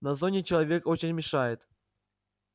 на зоне человечек очень мешает